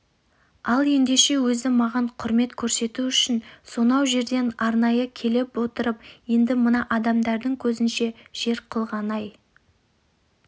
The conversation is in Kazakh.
ал ендеше өзі маған құрмет көрсету үшін сонау жерден арнайы келіп отырып енді мына адамдардың көзінше жер қылғаны-ай